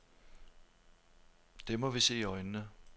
Det må vi se i øjnene.